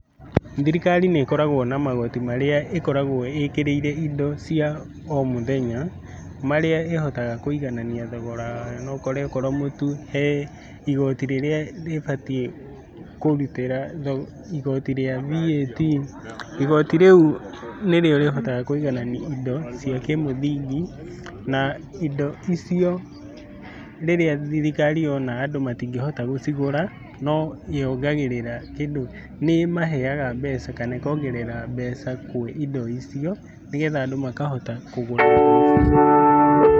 Thirikari nĩ ĩkoragwo na magoti marĩa ĩkoragwo ĩkĩrĩire indo cia o mũthenya marĩa ĩhotaga kũiganania thogora wa yo . No ũkore akorwo mũtu he igoti rĩrĩa ribatiĩ kũrutĩra igotoi rĩa VAT. Igoti rĩu nĩ rĩo rĩhotaga kũiganania indo cia kĩmũthingi, na indo icio rĩrĩa thirikari yona andũ matingĩhota gũcigũra. No yongagĩrĩra kĩndũ nĩ ĩmaheaga mbeca kana ĩkongerera mbeca kwĩ indo icio nĩ getha andũ makahota kũgũra.